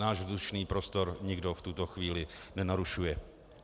Náš vzdušný prostor nikdo v tuto chvíli nenarušuje.